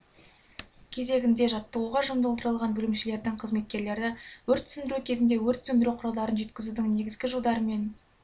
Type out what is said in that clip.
кезегінде жаттығуға жұмылдырылған бөлімшелердің қызметкерлері өрт сөндіру кезінде өрт сөндіру құралдарын жеткізудің негізгі жодары мен